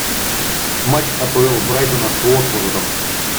матч апл брайтона с уотфордом